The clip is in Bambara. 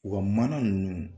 O ka mana nunnu